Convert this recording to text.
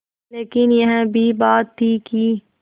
लेकिन यह भी बात थी कि